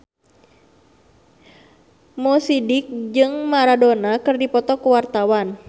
Mo Sidik jeung Maradona keur dipoto ku wartawan